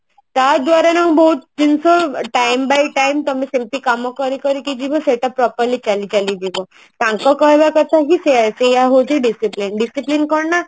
ତା ଦ୍ଵାରା ଯୋଉ ବହୁତ ଜିନିଷ time by time ତମେ ସେମତି କାମ କରି କରିକି ଜୀବ ସେଟା properly ଚାଲି ଚାଲି ଯିବ ତାଙ୍କ କହିବ କଥା କି ସେଇଆ ହଉଛି discipline discipline କଣ ନା